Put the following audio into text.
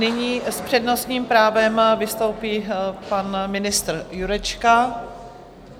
Nyní s přednostním právem vystoupí pan ministr Jurečka.